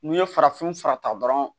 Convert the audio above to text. N'i ye farafin fura ta dɔrɔn